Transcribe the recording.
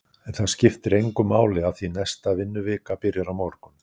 En það skiptir engu máli af því næsta vinnuvika byrjar á morgun.